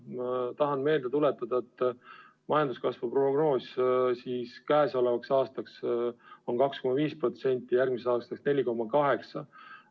Ma tahan meelde tuletada, et majanduskasvu prognoos käesolevaks aastaks on 2,5% ja järgmiseks aastaks 4,8%.